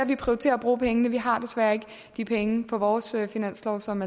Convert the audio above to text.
vi prioriterer at bruge pengene vi har desværre ikke de penge på vores finanslov som